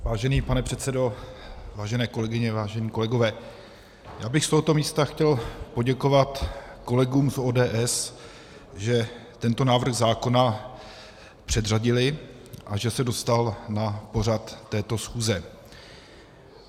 Vážený pane předsedo, vážené kolegyně, vážení kolegové, já bych z tohoto místa chtěl poděkovat kolegům z ODS, že tento návrh zákona předřadili a že se dostal na pořad této schůze.